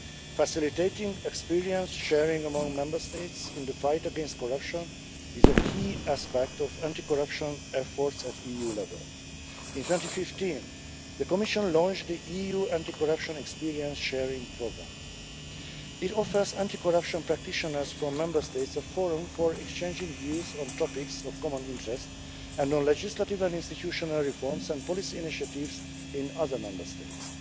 Facilitating experience sharing among Member States in the fight against corruption is a key aspect of anti corruption efforts at EU level. In 2015 the Commission launched the EU Anti-Corruption Experience Sharing Programme. It offers anti-corruption practitioners from Member States a forum for exchanging views on topics of common interest and on legislative and institutional reforms and policy initiatives in other Member States.